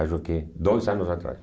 Acho que dois anos atrás.